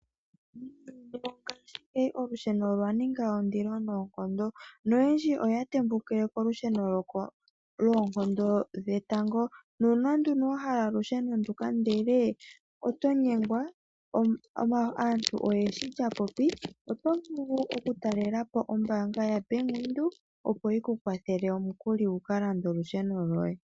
Olusheno olwaninga ondilo noonkondo noyendji oya tembukile kolusheno lwoonkondo dhetango nuuna nduni wahala olusheno nduka ndele otonyengwa aantu oyendji lyapopi otovulu okutalelapo ombanga yaVenduka opo yikukwathele omukuli wukalande olusheno loye.